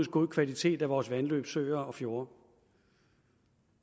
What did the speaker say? god kvalitet af vores vandløb søer og fjorde